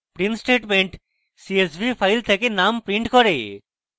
print statement csv file থেকে names print করে